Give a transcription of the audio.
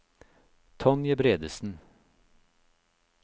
Tonje Bredesen